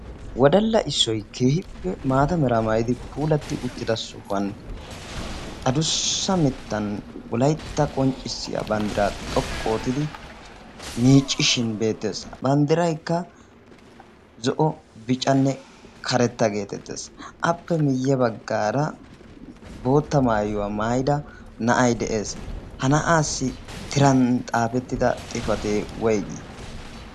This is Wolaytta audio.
wodalla issoy keehippe maata meraa maayidi puulatti uttida sohuwan adussa mittan wolaytta qonccissiya banddiraa xoqqu ootidi miiccishin beettees. banddiraykka zo7o bicanne karetta geetettees. appe miyye baggaara bootta maayuwaa maayida na7ay de7ees ha na7aassi tiran xaafettida xifatee woyggi?